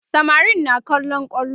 samarin na kallon kwallo